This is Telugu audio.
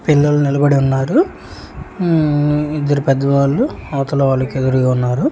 పిల్లలు నిలబడి ఉన్నారు మ్మ్ ఇద్దరు పెద్దవాళ్ళు అవతల వాళ్ళకి ఎదురుగా ఉన్నారు.